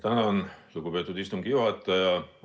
Tänan, lugupeetud istungi juhataja!